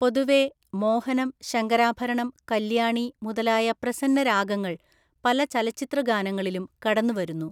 പൊതുവേ, മോഹനം, ശങ്കരാഭരണം, കല്യാണി മുതലായ പ്രസന്നരാഗങ്ങൾ പല ചലച്ചിത്രഗാനങ്ങളിലും കടന്നുവരുന്നു.